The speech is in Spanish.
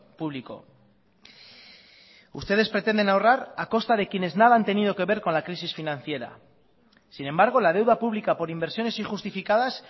público ustedes pretenden ahorrar a costa de quienes nada han tenido que ver con la crisis financiera sin embargo la deuda pública por inversiones injustificadas